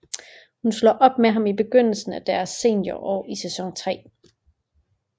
Hun slår op med ham i begyndelsen af deres seniorår i sæson tre